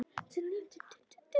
Það er mikið byggt.